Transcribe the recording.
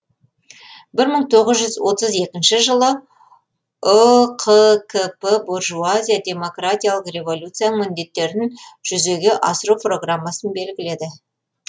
бір мың тоғыз жүз отыз екінші жылы үқкп буржуазия демократиялық революцияның міндеттерін жүзеге асыру программасын белгіледі